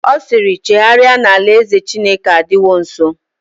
Ọ siiri, chegharịa na alaeze Chineke adịwo nsọ!